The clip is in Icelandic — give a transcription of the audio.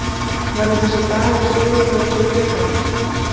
Verður þessi dagur sögulegur fyrir Blika?